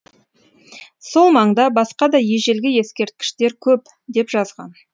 сол маңда басқа да ежелгі ескерткіштер көп деп жазған